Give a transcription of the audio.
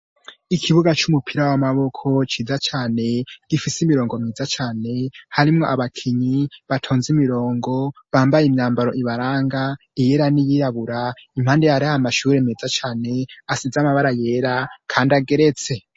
ikibuga c'umupira w'amaboko ciza cane gifise imirongo miza cane harimwo abakinyi batonze imirongo bambaye imyambaro ibaranga iyera n'iyirabura impande hariho amashure meza cyane asize amabara yera kandi ageretse